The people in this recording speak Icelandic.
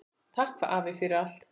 Takk afi, fyrir allt.